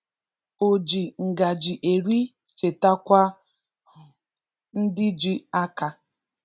O ji ngaji eri chetakwa um ndị ji aka